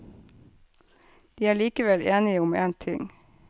De er likevel enige om én ting.